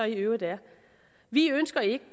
i øvrigt er vi ønsker ikke